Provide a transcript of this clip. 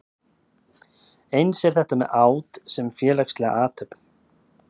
Eins er þetta með át sem félagslega athöfn.